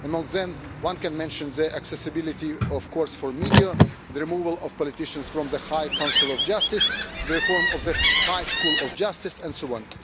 Among them one can mention accessibility for the media, the removal of politicians from the High Council of Justice, the reform of the High School of Justice, and so